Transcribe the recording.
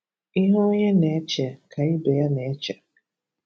Ihe onye na-eche ka ibe ya na-eche.